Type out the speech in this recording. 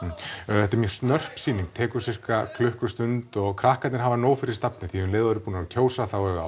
þetta er mjög snörp sýning tekur sirka klukkustund og krakkarnir hafa nóg fyrir stafni því um leið og þau eru búin að kjósa þá eiga